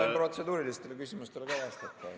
Ma võin protseduurilistele küsimustele ka vastata.